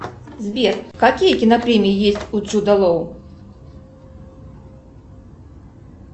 сбер какие кинопремии есть у джуда лоу